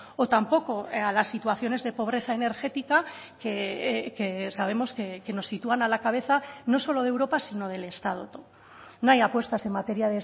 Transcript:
o tampoco a las situaciones de pobreza energética que sabemos que nos sitúan a la cabeza no solo de europa sino del estado no hay apuestas en materia